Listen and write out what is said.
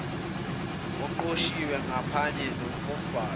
oqoshiwe ngaphanye kombhalo